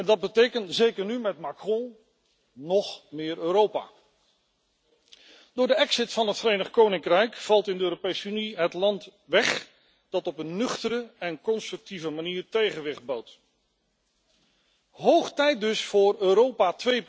Dat betekent, zeker nu met Macron, nog meer Europa. Door de exit van het Verenigd Koninkrijk valt in de Europese Unie het land weg dat op een nuchtere en constructieve manier tegenwicht bood. Hoog tijd dus voor Europa